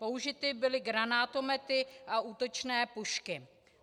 Použity byly granátomety a útočné pušky.